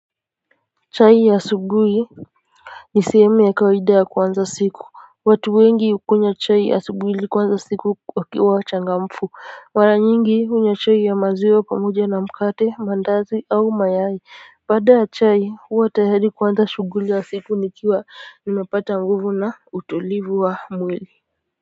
Saa hii asubuhi nisehemu ya kawaida ya kuanza siku. Watu wengi hukunywa chai asubuhi ili kuanza siku wakiwa wachangamfu. Mara nyingi hunywa chai ya maziwa pamoja na mkate mandazi au mayai baada ya chai, huwa tayari kuanza shughuli ya siku nikiwa nimepata nguvu na utulivu wa mwili.